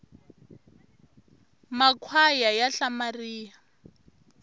makhwaya ya hlamaria